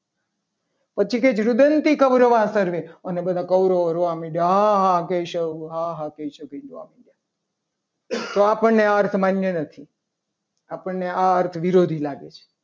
પછી કે રુદનથી કૌરવ વાહ સર્વે અને બધા કૌરવો રોવા લાગ્યા. આહાહા કેશવ હા હા કેશવ એમ કરીને રોવા મંડ્યા. તો આ આપણને આ અર્થ માન્ય નથી આપણને આ અર્થ વિરોધી લાગે છે.